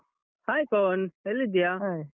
Hai Pavan, ಎಲ್ಲಿದಿಯಾ?